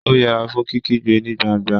ó yẹra fún kíkígbe ní gbangba